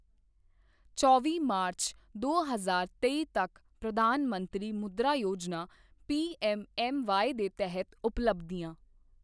ਚੌਵੀ ਮਾਰਚ ਦੋ ਹਜ਼ਾਰ ਤੇਈ ਤੱਕ ਪ੍ਰਧਾਨ ਮੰਤਰੀ ਮੁਦ੍ਰਾ ਯੋਜਨਾ ਪੀਐੱਮਐੱਮਵਾਈ ਦੇ ਤਹਿਤ ਉਪਬਲਧੀਆਂ